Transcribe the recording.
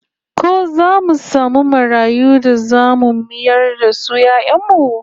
Ko zamu samu marayu da zamu mayar da su 'ya'yan mu?